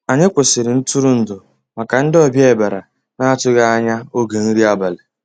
Ànyị́ kwụ́sị́rí ntụ́rụ́èndụ́ màkà ndị́ ọ̀bịá bìàrá ná-àtụ́ghị́ ànyá ògé nrí àbàlí.